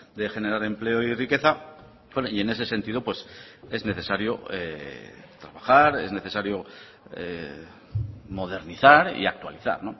de generar empleo y riqueza y en ese sentido es necesario trabajar es necesario modernizar y actualizar